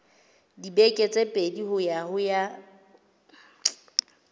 dibeke tse pedi ho ya